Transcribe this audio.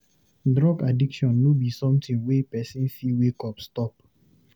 Drug addiction no be somtin wey pesin fit wake up stop.